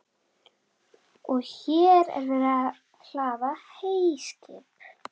Og hér er verið að hlaða heyskip.